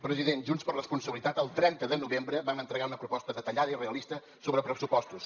president junts per responsabilitat el trenta de novembre vam entregar una proposta detallada i realista sobre pressupostos